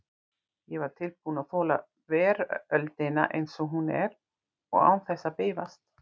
Ég var tilbúinn að þola veröldina eins og hún er, og án þess að bifast.